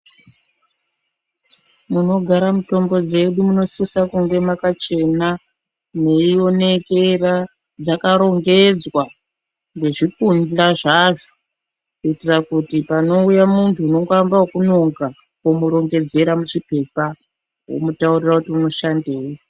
Munogara mutombo dzedu munosisa kunge makachena, mweionekera, dzakarongedzwa ngezvikundla zvadzo. Kuitira kuti panouya muntu unongoamba ekunonga womborongedzera muchiphepha womutaurira kuti unoshandei.